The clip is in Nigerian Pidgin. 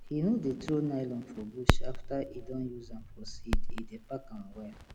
he no dey throw nylon for bush after e don use am for seed e dey pack am well